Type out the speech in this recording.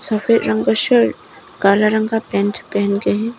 काला रंग का पेंट पहनके हैं।